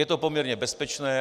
Je to poměrně bezpečné.